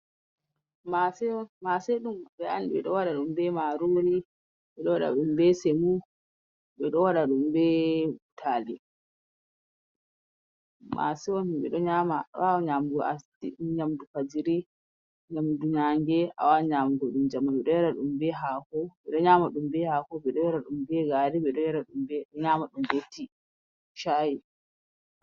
Mase on, mase ɗum ɓe an, be do waɗa ɗum be marori, ɓe ɗo waɗa ɗum be semo, ɓe ɗo waɗa ɗum be butali. Mase on himɓe ɗo nyama, a wawan nyamugo as yamdu fajiri, nyamdu nange, a wawan nyamugo ɗum jemma. Ɓe ɗo yara ɗum be hako, ɓe ɗo nyama ɗum be hako, ɓe ɗo yara ɗum be gari, ɓe ɗo yara ɗum be, nyama ɗum be tii, shayi.